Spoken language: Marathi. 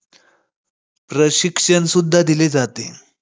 दप्तर व्यवस्था व न्यायव्यवस्थेची शिक्षण त्यांनी दादोजी कोंडदेव यांच्याकडून मिळवले.